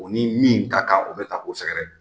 O ni min ka kan o bɛ ta k'o sɛgɛrɛ.